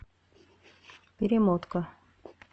перемотка